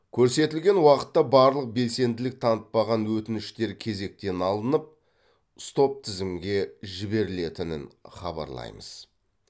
көрсетілген уақытта барлық белсенділік танытпаған өтініштер кезектен алынып стоп тізімге жіберілетінін хабарлаймыз